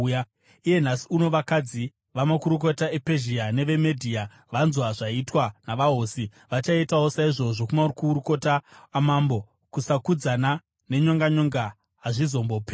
Iye nhasi uno vakadzi vamakurukota ePezhia neveMedhia vanzwa zvaitwa navahosi vachaitawo saizvozvo kumakurukota amambo. Kusakudzana nenyonganyonga hazvimbozoperi.